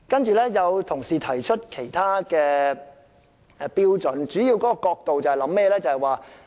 此外，有同事提出其他標準，其主要角度是甚麼呢？